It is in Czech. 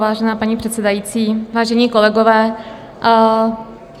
Vážená paní předsedající, vážení kolegové.